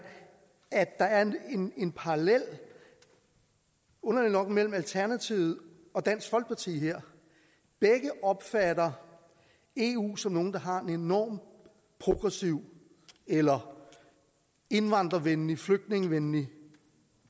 at der er en parallel mellem alternativet og dansk folkeparti her begge opfatter eu som nogen der har en enormt progressiv eller indvandrervenlig flygtningevenlig